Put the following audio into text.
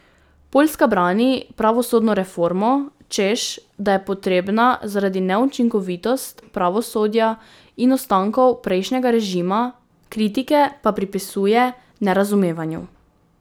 Poljska brani pravosodno reformo, češ da je potrebna zaradi neučinkovitost pravosodja in ostankov prejšnjega režima, kritike pa pripisuje nerazumevanju.